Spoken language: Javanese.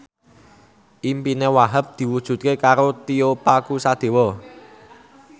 impine Wahhab diwujudke karo Tio Pakusadewo